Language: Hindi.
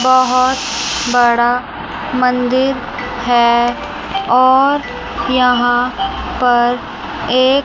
बहोत बड़ा मंदिर है और यहां पर एक--